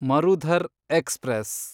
Marudhar express